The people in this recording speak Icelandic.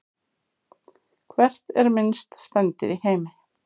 Hvert er minnsta spendýr í heimi?